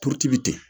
Turuti bɛ ten